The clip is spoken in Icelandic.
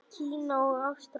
Kína og Ástralíu.